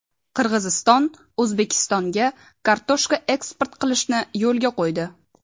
Qirg‘iziston O‘zbekistonga kartoshka eksport qilishni yo‘lga qo‘ydi.